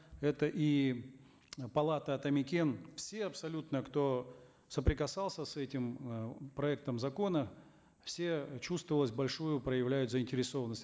это и палата атамекен все абсолютно кто соприкасался с этим э проектом закона все чувствовалось большую проявляют заинтересованность